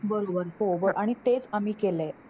बरोबर हो आणि तेच आम्ही केलय.